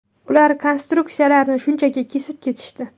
Ular konstruksiyalarni shunchaki kesib ketishdi.